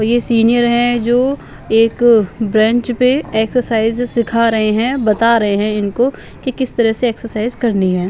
ये सीनियर है जो एक ब्रेंच पे एक्सरसाइज सिखा रहे हैं बता रहे हैं इनको कि किस तरह से एक्सरसाइज करनी है.